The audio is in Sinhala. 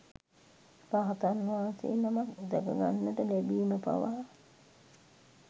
රහතන් වහන්සේ නමක් දැක ගන්නට ලැබීම පවා